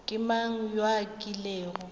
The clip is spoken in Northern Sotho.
ke mang yo a kilego